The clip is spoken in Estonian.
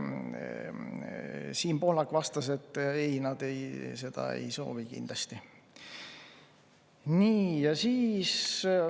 Siim Pohlak vastas, et ei, seda nad kindlasti ei soovi.